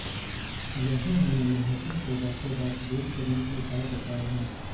यहाँ हमें मुंहासों को रातों रात दूर करने के उपाय बताए हैं